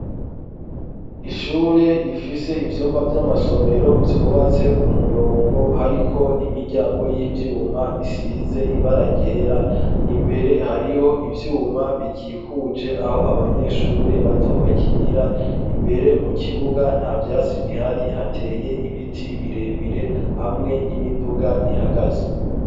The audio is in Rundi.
Ishure rifise ivyumba vy'amasomero vyubatse ku murongo, hariko n'imiryango y'ivyuma isize ibara ryera. Imbere hariho ivyuma bikikuje aho abanyeshure bato bakinira. Imbere mu kibuga nta vyasi bihari; hateye ibiti birebire hamwe n'imiduga ihagaze.